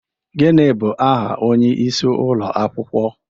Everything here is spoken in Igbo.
Gịnị bụ aha onyeisi ụlọ akwụkwọ?